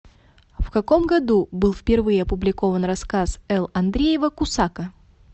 в каком году был впервые опубликован рассказ л андреева кусака